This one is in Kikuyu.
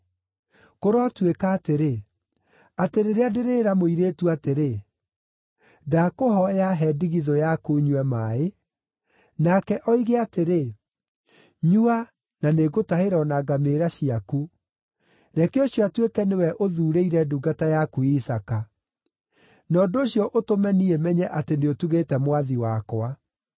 Kũrotuĩka atĩrĩ, atĩ rĩrĩa ndĩrĩĩra mũirĩtu atĩrĩ, ‘Ndakũhooya, he ndigithũ yaku nyue maaĩ,’ nake oige atĩrĩ, ‘Nyua na nĩngũtahĩra o na ngamĩĩra ciaku,’ reke ũcio atuĩke nĩwe ũthuurĩire ndungata yaku Isaaka. Na ũndũ ũcio ũtũme niĩ menye atĩ nĩũtugĩte mwathi wakwa.”